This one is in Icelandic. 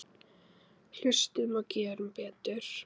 Hlustum og gerum betur.